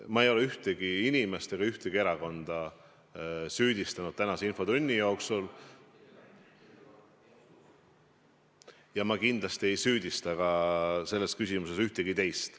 Ma ei ole ühtegi inimest ega ühtegi erakonda tänase infotunni jooksul süüdistanud ja kindlasti ei süüdista selles küsimuses ka ühtegi teist.